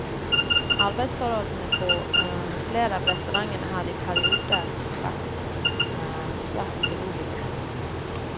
Arbeidsforholdene på flere av restaurantene har i perioder vært svært urolige.